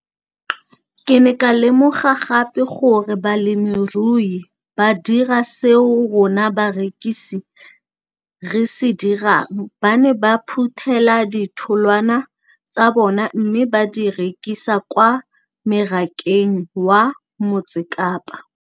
Ke ne ka lemoga gape gore balemirui ba dira seo rona barekisi re se dirang - ba ne ba phuthela ditholwana tsa bona mme ba di rekisa kwa marakeng wa Motsekapa.